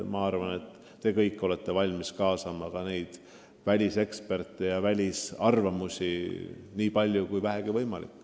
Ma arvan, et te kõik olete valmis kaasama ka väliseksperte nii palju, kui vähegi võimalik.